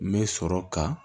N bɛ sɔrɔ ka